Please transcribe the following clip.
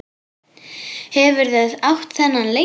Hefurðu átt þennan lengi?